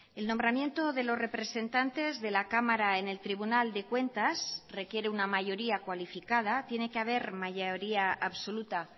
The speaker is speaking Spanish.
el nombramiento de los representantes de la cámara en el tribunal de cuentas requiere una mayoría cualificada tiene que haber mayoría absoluta